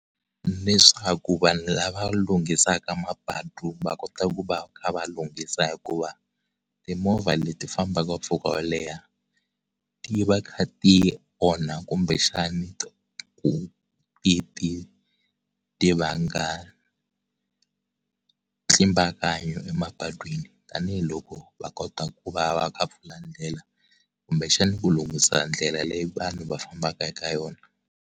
Leswaku vanhu lava lunghisaka mapatu va kota ku va kha va lunghisa hikuva timovha leti fambaka mpfhuka wo leha ti va ti kha ti onha kumbe xana ti ti ti vanga ntlimbakanyo emapatwini tanihiloko va kota ku va va kha pfula ndlela kumbe xana ku lunghisa ndlela leyi vanhu va fambaka eka yona.